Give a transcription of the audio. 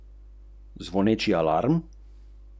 Zanima me, kaj naj čakamo in do kdaj?